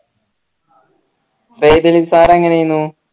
Syed Ali sir എങ്ങനേനു